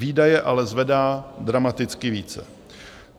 Výdaje ale zvedá dramaticky více.